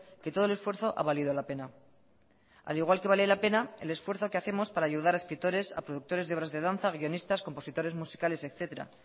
que todo el esfuerzo ha valido la pena al igual que vale la pena el esfuerzo que hacemos para ayudar a escritores a productores de obras de danza guionistas compositores musicales etcétera